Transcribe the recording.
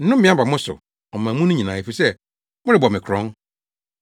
Nnome aba mo so, ɔman mu no nyinaa, efisɛ, morebɔ me korɔn.